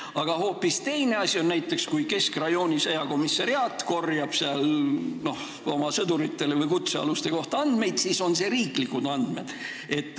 Aga hoopis teine asi on näiteks see, kui keskrajooni sõjakomissariaat korjab oma sõdurite või kutsealuste kohta andmeid – need on siis riiklikud andmed.